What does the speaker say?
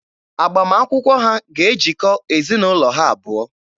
Agbamakwụkwọ ha ga-ejikọ ezinaụlọ ha abụọ.